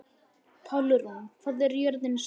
Pálrún, hvað er jörðin stór?